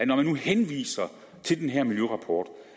når man nu henviser til den her miljørapport